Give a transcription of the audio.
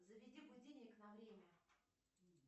заведи будильник на время